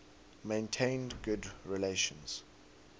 maintained good relations